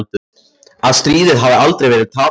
Að stríðið hafi alltaf verið tapað.